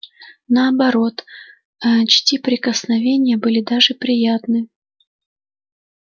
наоборот а чти прикосновения были даже приятны